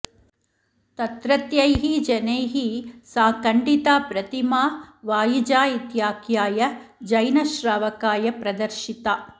तत्रत्यैः जनैः सा खण्डिता प्रतिमा वाइजा इत्याख्याय जैनश्रावकाय प्रदर्शिता